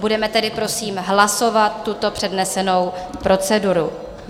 Budeme tedy prosím hlasovat tuto přednesenou proceduru.